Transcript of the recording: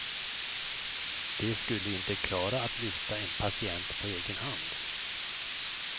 De skulle inte klara att lyfta en patient på egen hand.